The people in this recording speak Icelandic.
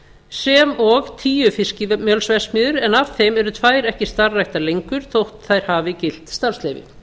sem og tíu fiskimjölsverksmiðjur en af þeim eru tvær ekki starfræktar lengur þótt þær hafi gilt starfsleyfi